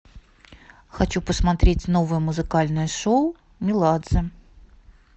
хочу посмотреть новое музыкальное шоу меладзе